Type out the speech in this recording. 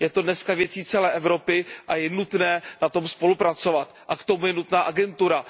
Je to dneska věcí celé Evropy a je nutné na tom spolupracovat a k tomu je nutná agentura.